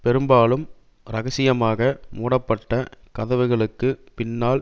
பெரும்பாலும் இரகசியமாக மூடப்பட்ட கதவுகளுக்கு பின்னால்